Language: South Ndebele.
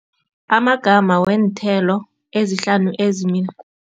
Amagama weenthelo ezihlanu